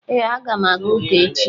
Ee, aga m aga ụka echi